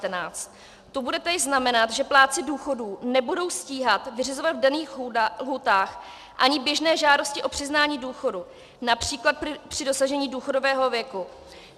To bude též znamenat, že plátci důchodů nebudou stíhat vyřizovat v daných lhůtách ani běžné žádosti o přiznání důchodu, například při dosažení důchodového věku.